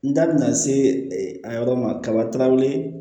N da bina se a yɔrɔ ma kabaw ye